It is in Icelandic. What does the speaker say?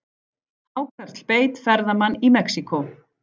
Hákarl beit ferðamann í Mexíkó